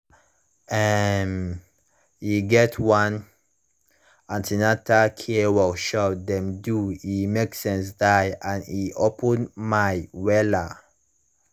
um e get one an ten atal care workshop dem do e make sense die and e open my wella